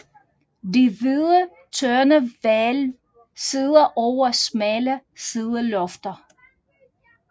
Det hvide tøndehvælv sidder over smalle sidelofter